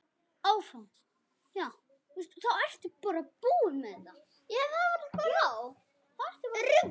Já, ég veit það